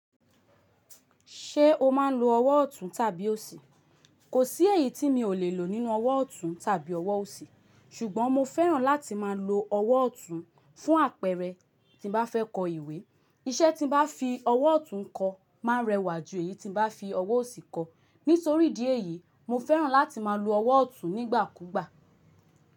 Ṣé o máa ń lo ọwọ́ ọ̀tún tàbí òsì? Kò sí èyí tí mi ò lè lò nínú ọwọ́ ọ̀tún tàbí ọwọ́ òsì, ṣùgbọ́n mo fẹ́ràn láti máa lo ọwọ́ ọ̀tún fún àpẹẹrẹ, tí bá fẹ́ kọ ìwé. Iṣẹ́ tí bá fi ọwọ́ ọ̀tún kọ máa rẹwà jù èyí tí bá fi ọwọ́ òsì kọ. Nítorí ìdí dí èyí, mo fẹ́ràn láti máa lo ọwọ́ ọ̀tún nígbà kúgbà.